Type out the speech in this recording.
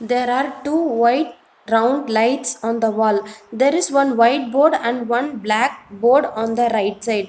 There are two white round lights on the wall there is one white board and one black board on the right side.